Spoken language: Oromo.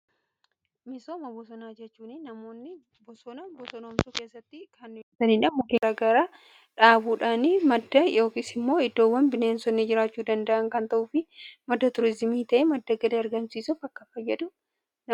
Misooma bosonaa jechuun namoonni bosona bosonoomsuu keessatti kan muka garaagaraa dhaabuudhaan madda yookiis immoo iddoowwan bineensonni jiraachuu danda'an kan ta'uu fi madda tuuriizimii ta'e madda galii argamsiisuuf akkaan fayyadu.